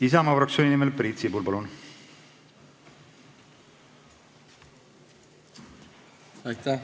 Isamaa fraktsiooni nimel Priit Sibul, palun!